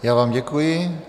Já vám děkuji.